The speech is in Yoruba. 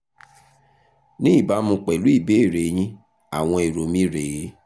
ní ìbámu pẹ̀lú ìbéèrè yín àwọn èrò mi rè é